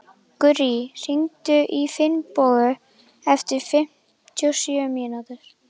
Gurrí, hringdu í Finnbogu eftir fimmtíu og sjö mínútur.